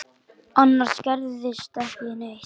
Annars gerðist ekki neitt.